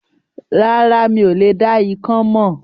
Rárá, mi ò dá ikán mọ̀